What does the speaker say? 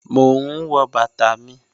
Mò n wọ̀ bàtà mi.